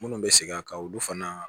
Minnu bɛ segin a kan olu fana